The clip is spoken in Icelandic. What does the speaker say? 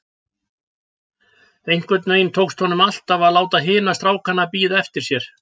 Einhvern veginn tókst honum alltaf að láta hina strákana bíða eftir sér.